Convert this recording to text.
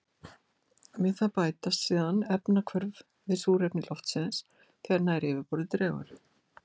Við það bætast síðan efnahvörf við súrefni loftsins þegar nær yfirborði dregur.